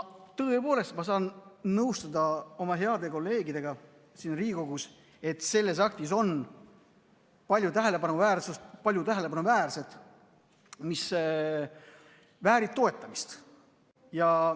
Tõepoolest, ma saan nõustuda oma heade kolleegidega siin Riigikogus, kes ütlevad, et selles aktis on palju tähelepanuväärset, mis väärib toetamist.